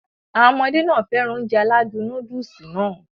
Àwọn ọmọdé nàá fẹ́ràn Ounjẹ aládùn nóódùsì Nàá